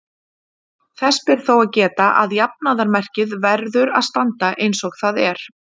Þess ber þó að geta að jafnaðarmerkið verður að standa eins og það er.